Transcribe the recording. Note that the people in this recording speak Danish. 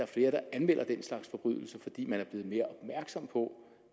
flere der anmelder den slags forbrydelser fordi man er blevet mere opmærksom på